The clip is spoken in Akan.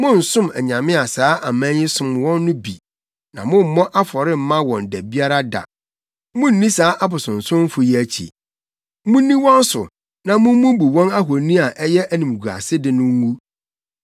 Monnsom anyame a saa aman yi som wɔn no bi, na mommmɔ afɔre mma wɔn da biara da. Munnni saa abosonsomfo yi akyi. Munni wɔn so na mummubu wɔn ahoni a ɛyɛ animguasede no ngu.